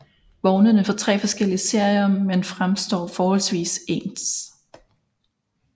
Vognene er fra tre forskellige serier men fremstår forholdsvis ens